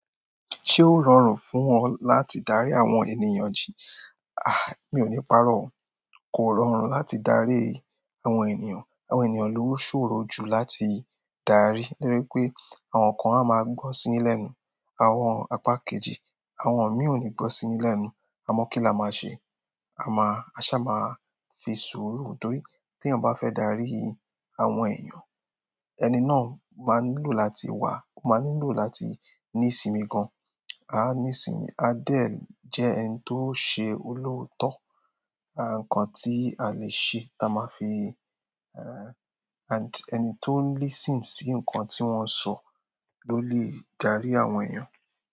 Ṣé ó rọrùn fún ọ láti darí àwọn ènìyàn jí mi ò ní paró o. Kò rọrùn láti darí àwọn ènìyàn. Àwọn ènìyàn ló ṣòro jù láti darí. Nítorí pé àwọn kan á máa gbọ́ sí i yín lẹ́nu, àwọn apá kejì, àwọn míì ò ní gbọ́ sí i yín lẹ́nu. Àmó kí la máa ṣe. A máa, a sá ma fi sùúrù. Nítorí tí èèyàn bá fẹ́ darí àwọn ènìyàn, ẹni náà máa nílò láti wà, ó máa nílò láti ní ìsinmi gan. Á ní ìsinmi, á dẹ̀ jẹ́ ẹni tó ṣe olóòótọ́. Ara ǹkan tí a lè ṣe ta máa fi, ẹni tó ń listen sí nǹkan tí wọ́n ń sọ ló lè dárí àwọn ènìyàn.